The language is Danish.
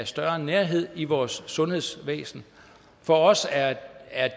større nærhed i vores sundhedsvæsen for os er